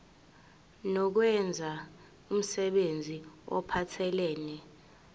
nokwenza umsebenzi ophathelene